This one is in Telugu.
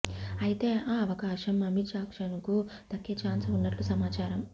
అయితే ఆ అవకాశం అమీజాక్సన్ కు దగ్గే ఛాన్స్ ఉన్నట్లు సమాచారం